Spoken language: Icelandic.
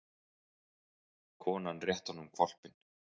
Konan rétti honum hvolpinn.